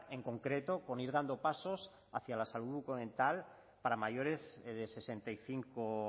en concreto con ir dando pasos hacia la salud bucodental para mayores de sesenta y cinco